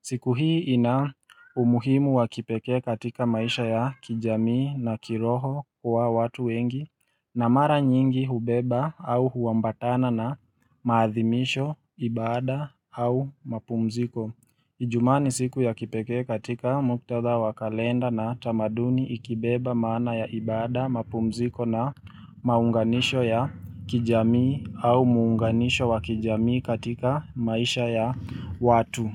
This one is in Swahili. Siku hii ina umuhimu wa kipekee katika maisha ya kijamii na kiroho kuwa watu wengi na mara nyingi hubeba au huambatana na maathimisho, ibada au mpumziko. Ijumaa ni siku ya kipekee katika muktatha wa kalenda na tamaduni ikibeba maana ya ibada, mapumziko na maunganisho ya kijamii au muunganisho wa kijamii katika maisha ya watu.